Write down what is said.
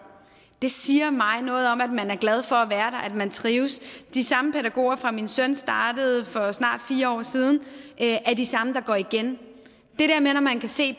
det siger mig noget om at man er glad for at være der at man trives de samme pædagoger fra min søn startede for snart fire år siden er de samme der går igen når man kan se